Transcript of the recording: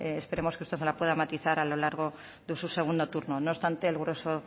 esperemos que usted nos la pueda matizar a lo largo de su segundo turno no obstante el grueso